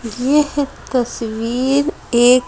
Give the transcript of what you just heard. यह है तस्वीर एक --